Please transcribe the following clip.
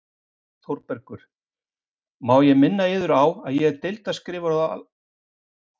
ÞÓRBERGUR: Má ég minna yður á að ég er deildarskrifari á Alþingi- þegar það starfar.